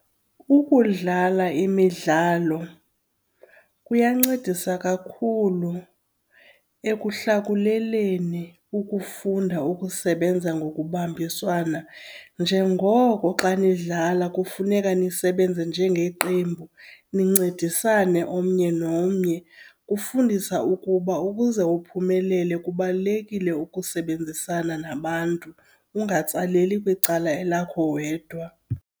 Ukudlala imidlalo kuyancedisa kakhulu ekuhlakuleleni ukufunda ukusebenza ngokubambiswana njengoko xa nidlala kufuneka nisebenze njengeqembu, nincedisane omnye nomnye. Kufundisa ukuba ukuze uphumelele kubalulekile ukusebenzisana nabantu, ungatsaleli kwicala elakho wedwa.